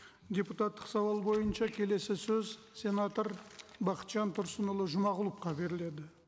депутаттық сауал бойынша келесі сөз сенатор бақытжан тұрсынұлы жұмағұловқа беріледі